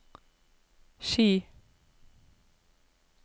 Ski